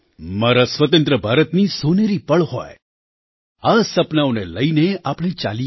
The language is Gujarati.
મારા સ્વતંત્ર ભારતની સોનેરી પળ હોય આ સપનાંઓને લઈને આપણે ચાલીએ